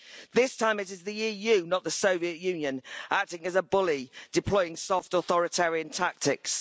This time it is the EU, not the Soviet Union, acting as a bully, deploying soft authoritarian tactics.